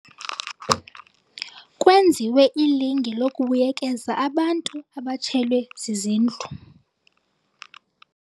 Kwenziwe ilinge lokubuyekeza abantu abatshelwe zizindlu.